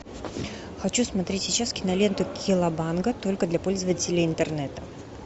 хочу смотреть сейчас киноленту колобанга только для пользователей интернета